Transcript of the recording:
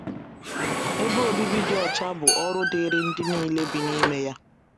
Ebe obibi dị ọcha bụ ọrụ dịịrị ndị nile bi n’ime ya.